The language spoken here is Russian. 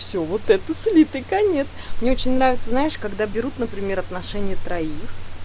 всё вот этот слитый конец мне очень нравится знаешь когда берут например отношения троих